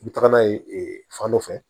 I bɛ taga n'a ye ee fan dɔ fɛ